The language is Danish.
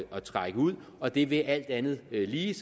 at trække ud og det vil alt andet lige